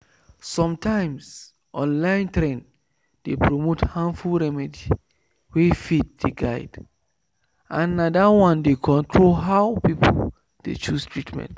sometimes online trend dey promote harmful remedy wey faith dey guide and na that one dey control how people dey choose treatment.